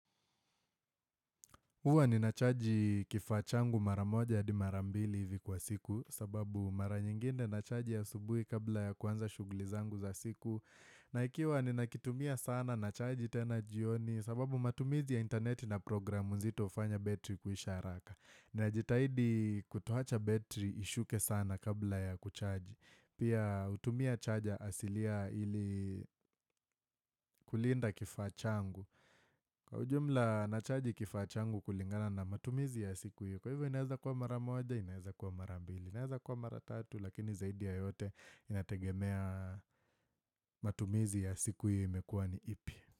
Huwa ninachaji kifaa changu mara moja hadi mara mbili hivi kwa siku kwa sababu mara nyingine nachaji asubuhi kabla ya kuanza shughuli zangu za siku. Na ikiwa ninakitumia sana nachaji tena jioni sababu matumizi ya interneti na programu nzito hufanya battery kuisha haraka. Najitahidi kutoacha battery ishuke sana kabla ya kuchaji. Pia hutumia charger asilia ili kulinda kifaa changu. Kwa ujumla nachaji kifaa changu kulingana na matumizi ya siku hiyo. Kwa hivyo inaweza kuwa mara moja inaweza kuwa mara mbili. Inaweza kuwa mara tatu lakini zaidi ya yote inategemea matumizi ya siku hiyo imekuwa ni ipi.